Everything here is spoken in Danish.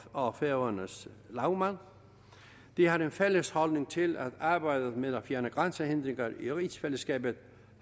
og færøernes lagmand de har en fælles holdning til at arbejdet med at fjerne grænsehindringer i rigsfællesskabet